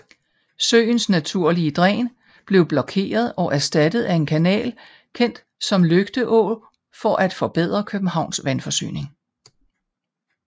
Søens naturlige dræn blev blokeret og erstattet af en kanal kendt som Lygte Å for at forbedre Københavns vandforsyning